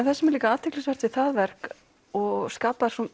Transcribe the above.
það sem er líka athyglisvert við það verk og skapar svo